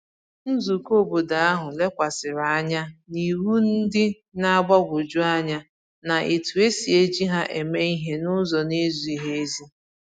Nzùkọ̀ óbọ̀dò ahu lekwàsịrị anya n’iwu ndị na-agbagwoju anya na etu e si eji ha eme ihe n’ụzọ na-ezighị ezi